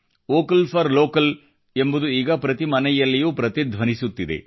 vocal for local ಎಂಬುದು ಈಗ ಪ್ರತಿ ಮನೆಯಲ್ಲಿಯೂ ಪ್ರತಿಧ್ವನಿಸುತ್ತಿದೆ